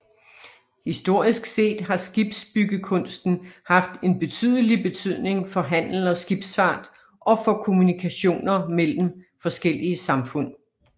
Historisk set har skibsbyggekunsten haft en betydelig betydning for handel og skibsfart og for kommunikationer mellem forskellige samfund